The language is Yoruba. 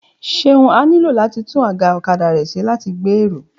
Ṣeun á nílò láti tún àga ọ̀kadà rẹ̀ ṣe láti lè gbé èrò